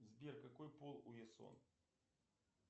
сбер какой пол у ясон